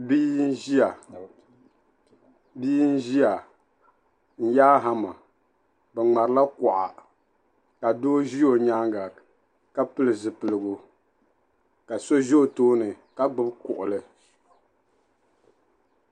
Bia n-ʒia n-yaai hama. Bɛ ŋmarila kuɣa ka doo ʒi o nyaaŋga ka pili zipiligu ka so ʒi o tooni ka gbibi kuɣili.